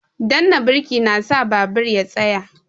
Danna birki na sa babur ya tsaya